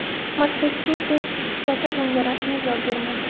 Massachusets shtati bunga rasmiy javob bermadi.